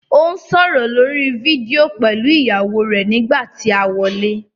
Ó ń sọ̀rọ̀ lórí fídíò pẹ̀lú ìyàwó rẹ̀ nígbà tí a wọlé.